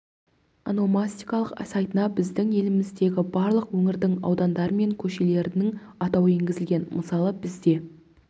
ономастикалық сайтына біздің еліміздегі барлық өңірдің аудандары мен көшелерінің атауы енгізілген мысалы бізде